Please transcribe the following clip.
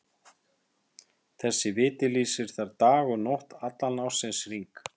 Þessi viti lýsir þar dag og nótt allan ársins hring.